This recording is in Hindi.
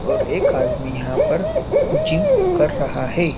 और एक आदमी यहां पर जिम कर रहा है।